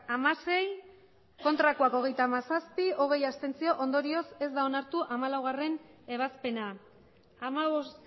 hamasei ez hogeita hamazazpi abstentzioak hogei ondorioz ez da onartu hamalaugarrena ebazpena hamabost